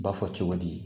Ba fɔ cogo di